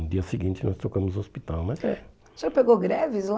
No dia seguinte nós tocamos o hospital, mas é. O senhor pegou greves lá?